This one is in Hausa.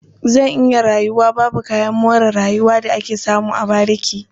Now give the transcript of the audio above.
Zan iya rayuwa babu kayan more rayuwa da ake samu a bariki.